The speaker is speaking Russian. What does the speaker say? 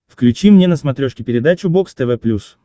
включи мне на смотрешке передачу бокс тв плюс